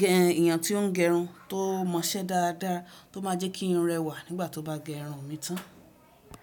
gẹ ènìyàn tí ó ń gẹrun tó mọ iṣẹ́ dáadáa, tó máa jẹ́ kí irun rẹwà nígbà tó bá gẹ irun mi tán.